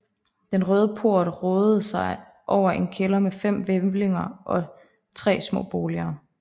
Den Røde Port rådede over en kælder med fem hvælvinger og tre små boliger